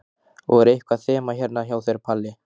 Og er eitthvað þema hérna hjá þér, Palli?